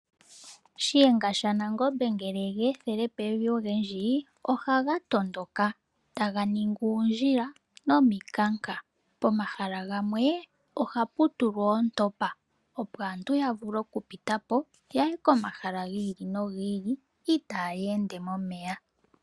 Shiyenga shaNangombe ngele yegeethele pevi ogendji, ohaga tondoka taga ningi uundjila nomikanga. Pomahala gamwe ohapu tulwa oontopa opo aantu yavule okupitapo yaye komahala gi ili no gi ili itaayeende momeya.